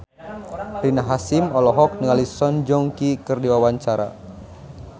Rina Hasyim olohok ningali Song Joong Ki keur diwawancara